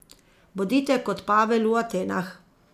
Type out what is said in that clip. Bodite kot Pavel v Atenah.